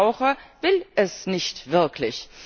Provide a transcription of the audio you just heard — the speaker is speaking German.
Der Verbraucher will es nicht wirklich.